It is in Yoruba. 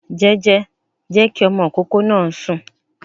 Jẹ́jẹ́, jẹ́ kí ọmọ ìkókó náà sùn